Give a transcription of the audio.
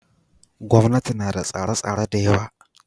Gwamnati ma da tsare tsare dayawa